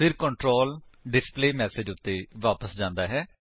ਫਿਰ control display message ਉੱਤੇ ਵਾਪਸ ਜਾਂਦਾ ਹੈ